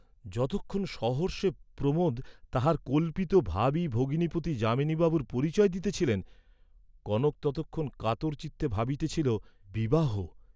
যতক্ষণ সহর্ষে প্রমোদ তাঁহার কল্পিত ভাবী ভগিনীপতি যামিনীবাবুর পরিচয় দিতেছিলেন, কনক ততক্ষণ কাতরচিত্তে ভাবিতেছিল, বিবাহ।